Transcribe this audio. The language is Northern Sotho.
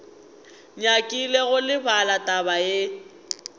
nyakile go lebala taba ye